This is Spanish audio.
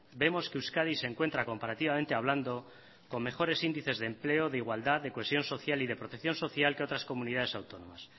vemos que euskadi se encuentra comparativamente hablando con mejores índices de empleo de igualdad de cohesión social y de protección social que otras comunidades autónomas